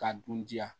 K'a dun diya